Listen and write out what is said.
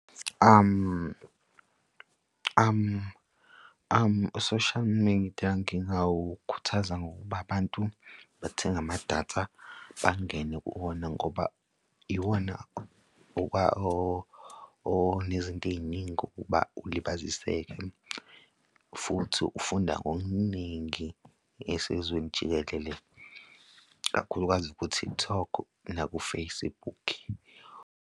U-social media ngingawukhuthaza ngokuba abantu bathenge amadatha bangene kuwona ngoba iwona onezinto ey'ningi ukuba ulibaziseka futhi ufunda ngokuningi esezweni jikelele, kakhulukazi ku-TikTok naku-Facebook.